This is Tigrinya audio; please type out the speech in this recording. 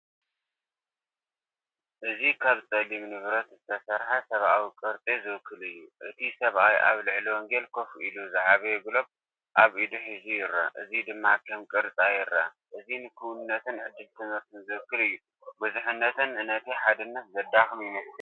እዚ ካብ ጸሊም ንብረት ዝተሰርሐ ሰብኣዊ ቅርጺ ዝውክል እዩ። እቲ ሰብኣይ ኣብ ልዕሊ ወንጌል ኮፍ ኢሉ ዝዓበየ ግሎብ ኣብ ኢዱ ሒዙ ይረአ፡እዚ ድማ ከም ቅርጻ ይረአ። እዚ ንክውንነትን ዕድል ትምህርትን ዝውክል እዩ። ብዙሕነት ነቲ ሓድነት ዘዳኽሞ ይመስል።